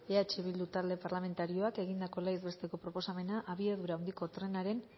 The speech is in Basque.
eh bildu talde parlamentarioak egindako legez besteko proposamena abiadura handiko trenaren